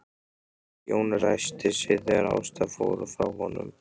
Jón ræskti sig þegar Ásta fór frá honum.